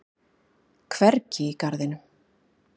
Hvergi í garðinum.